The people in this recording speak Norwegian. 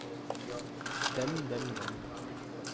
dem dem dem